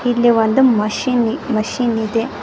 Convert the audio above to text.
ಇಲ್ಲಿ ಒಂದು machine machine ಇದೆ.